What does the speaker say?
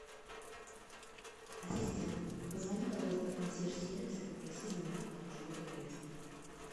ассистент позвони пожалуйста в консьерж сервис и попроси заменить подушку эта грязная